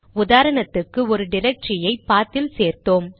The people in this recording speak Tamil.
உதாரணத்துக்கு ஒரு டிரக்டரியை பாத் இல் சேர்த்தோம்